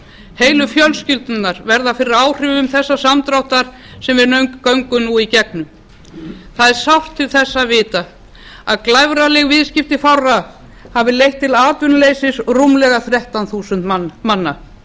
heilu fjölskyldurnar verða fyrir áhrifum þess samdráttar sem við göngum nú í gegnum það er sárt til þess að vita að glæfraleg viðskipti fárra hafi leitt til atvinnuleysis rúmlega þrettán þúsund manna